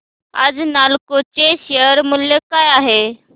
आज नालको चे शेअर मूल्य काय आहे